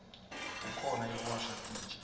kukhona yekuwasha titja